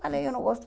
Falei, eu não gosto.